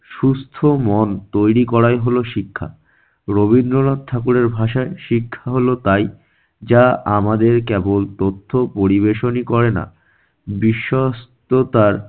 সুস্থ মন তৈরি করাই হলো শিক্ষা। রবীন্দ্রনাথ ঠাকুরের ভাষায়- শিক্ষা হল তাই যা আমাদের কেবল তথ্য পরিবেশনই করে না, বিশ্বস্থতার